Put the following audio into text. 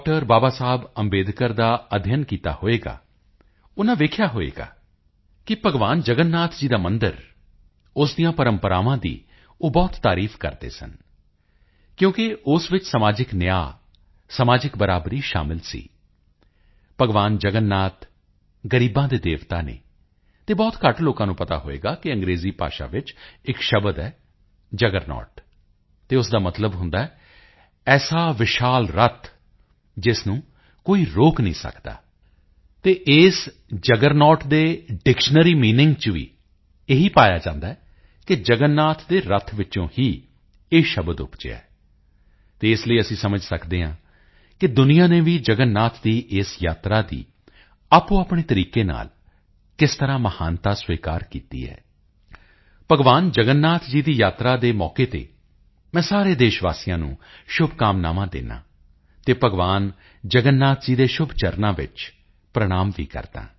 ਬਾਬਾ ਸਾਹਿਬ ਅੰਬੇਡਕਰ ਦਾ ਅਧਿਐਨ ਕੀਤਾ ਹੋਵੇਗਾ ਉਨ੍ਹਾਂ ਦੇਖਿਆ ਹੋਵੇਗਾ ਕਿ ਭਗਵਾਨ ਜਗਨਨਾਥ ਜੀ ਦਾ ਮੰਦਿਰ ਅਤੇ ਉਸ ਦੀਆਂ ਪ੍ਰੰਪਰਾਵਾਂ ਦੀ ਉਹ ਬਹੁਤ ਤਾਰੀਫ ਕਰਦੇ ਸਨ ਕਿਉਂਕਿ ਉਸ ਵਿੱਚ ਸਮਾਜਿਕ ਨਿਆਂ ਸਮਾਜਿਕ ਬਰਾਬਰੀ ਸ਼ਾਮਿਲ ਸੀ ਭਗਵਾਨ ਜਗਨਨਾਥ ਗ਼ਰੀਬਾਂ ਦੇ ਦੇਵਤਾ ਹਨ ਅਤੇ ਬਹੁਤ ਘੱਟ ਲੋਕਾਂ ਨੂੰ ਪਤਾ ਹੋਵੇਗਾ ਕਿ ਅੰਗਰੇਜ਼ੀ ਭਾਸ਼ਾ ਵਿੱਚ ਇੱਕ ਸ਼ਬਦ ਹੈ ਜੁੱਗਰਨੌਟ ਅਤੇ ਉਸ ਦਾ ਮਤਲਬ ਹੁੰਦਾ ਹੈ ਐਸਾ ਵਿਸ਼ਾਲ ਰੱਥ ਜਿਸ ਨੂੰ ਕੋਈ ਰੋਕ ਨਹੀਂ ਸਕਦਾ ਅਤੇ ਇਸ ਜੁੱਗਰਨੌਟ ਦੇ ਡਿਕਸ਼ਨਰੀ ਮੀਨਿੰਗ ਵਿੱਚ ਵੀ ਇਹ ਪਾਇਆ ਜਾਂਦਾ ਹੈ ਕਿ ਜਗਨਨਾਥ ਦੇ ਰੱਥ ਵਿੱਚੋਂ ਹੀ ਇਹ ਸ਼ਬਦ ਉਪਜਿਆ ਹੈ ਅਤੇ ਇਸ ਲਈ ਅਸੀਂ ਸਮਝ ਸਕਦੇ ਹਾਂ ਕਿ ਦੁਨੀਆ ਨੇ ਵੀ ਜਗਨਨਾਥ ਦੀ ਇਸ ਯਾਤਰਾ ਦੀ ਆਪਣੇਆਪਣੇ ਤਰੀਕੇ ਨਾਲ ਕਿਸ ਤਰ੍ਹਾਂ ਨਾਲ ਮਹਾਨਤਾ ਸਵੀਕਾਰ ਕੀਤੀ ਹੈ ਭਗਵਾਨ ਜਗਨਨਾਥ ਜੀ ਦੀ ਯਾਤਰਾ ਦੇ ਅਵਸਰ ਤੇ ਮੈਂ ਸਾਰੇ ਦੇਸ਼ ਵਾਸੀਆਂ ਨੂੰ ਸ਼ੁਭਕਾਮਨਾਵਾਂ ਦਿੰਦਾ ਹਾਂ ਅਤੇ ਭਗਵਾਨ ਜਗਨਨਾਥ ਜੀ ਦੇ ਸ਼ੁਭ ਚਰਨਾਂ ਵਿੱਚ ਪ੍ਰਣਾਮ ਵੀ ਕਰਦਾ ਹਾਂ